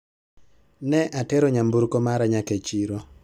Ne atero nyamburko mara nyaka e chiro